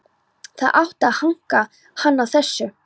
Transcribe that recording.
Það átti að hanka hann á þessu.